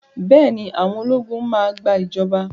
Bẹ́ẹ̀ ni, àwọn ológun máa gbà ìjọba.